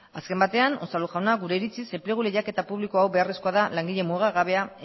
azken batean unzalu jauna gure iritziz enplegu lehiaketa publiko hau beharrezkoa da langile mugagabea